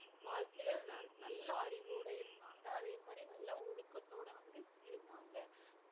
வாழ்க்கையில நல்~ நல்ல அறிவோட இருந்தாங்க அதே மாதிரி நல்ல ஒழுக்கத்தோட வந்து இருந்தாங்க